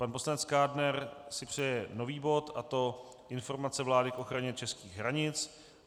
Pan poslanec Kádner si přeje nový bod, a to informace vlády k ochraně českých hranic.